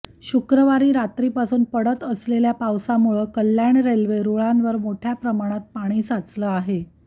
शुक्रवारी रात्रीपासून पडत असलेल्या पावसामुळं कल्याण रेल्वे रुळांवर मोठ्या प्रमाणात पाणी साचलं आहे